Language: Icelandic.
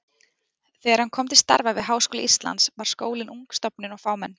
Þegar hann kom til starfa við Háskóla Íslands var skólinn ung stofnun og fámenn.